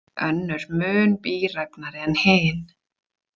Önnur mun bíræfnari en hin.